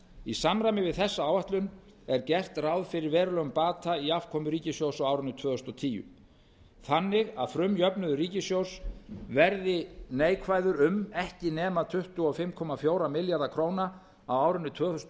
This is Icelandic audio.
í samræmi við þessa áætlun er gert ráð fyrir verulegum bata í afkomu ríkissjóðs á árinu tvö þúsund og tíu þannig að frumjöfnuður ríkissjóðs verði neikvæður um ekki nema tuttugu og fimm komma fjóra milljarða króna á árinu tvö þúsund og